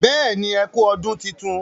béèni ẹkú ọdún títún